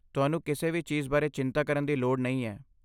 ਤੁਹਾਨੂੰ ਕਿਸੇ ਵੀ ਚੀਜ਼ ਬਾਰੇ ਚਿੰਤਾ ਕਰਨ ਦੀ ਲੋੜ ਨਹੀਂ ਹੈ।